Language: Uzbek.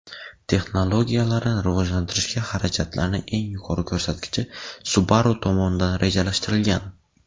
Texnologiyalarni rivojlantirishga xarajatlarning eng yuqori ko‘rsatkichi Subaru tomonidan rejalashtirilgan.